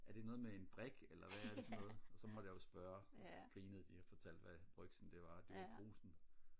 er det noget med en brik eller hvad er det for noget og så måtte jeg jo spørge og så grinede de og fortalte hvad brygsen det var og det var jo brugsen